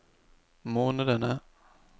månedene